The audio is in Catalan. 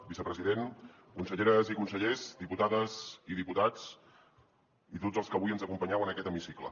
vicepresident conselleres i consellers diputades i diputats i tots els que avui ens acompanyeu en aquest hemicicle